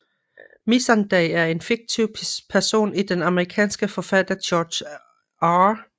Missandei er en fiktiv person i den amerikanske forfatter George R